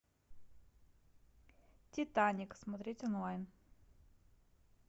титаник смотреть онлайн